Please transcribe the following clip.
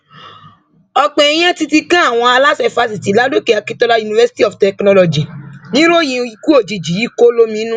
ọpọ èèyàn títí kan àwọn aláṣẹ fásitì ládòkè akintola university of technology nìròyìn ikú òjijì yìí kò lóminú